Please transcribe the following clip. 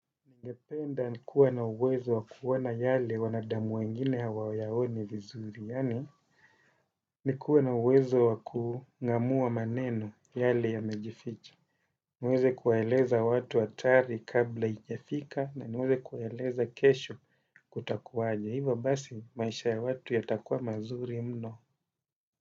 Ningependa nikuwe na uwezo wakuona yale wanadamu wengine hawayaoni vizuri. Yaani nikuwe na uwezo wakung'amua maneno yale yamejificha. Niweze kuwaeleza watu hatari kabla haijafika na niweze kuwaeleza kesho kutakuwaje. Hivo basi maisha ya watu yatakuwa mazuri mno.